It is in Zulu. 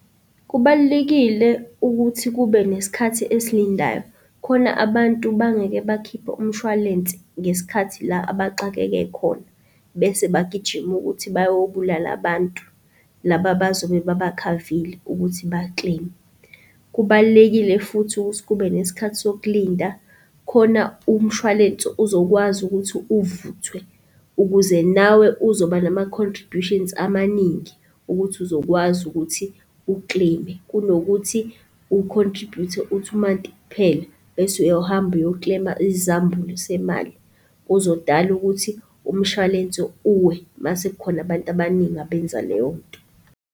Kubalulekile ukuthi kube nesikhathi esilindayo khona abantu bangeke bakhiphe umshwalense ngesikhathi la abaxakeke khona bese bagijime ukuthi bayobulala abantu laba abazobe babakhavile ukuthi ba-claim-e. Kubalulekile futhi ukuthi kube nesikhathi sokulinda khona umshwalense uzokwazi ukuthi uvuthwe ukuze nawe uzoba nama-contributions amaningi, ukuthi uzokwazi ukuthi u-claim-e kunokuthi u-contribute-e u-two month kuphela, bese uyohambe uyo-claim-e isizambulu semali. Kuzodala ukuthi umshwalense uwe mase kukhona abantu abaningi abenza leyonto.